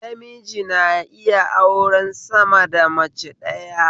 Namiji na iya auren sama da mace ɗaya